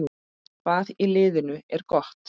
Hvað í liðinu er gott?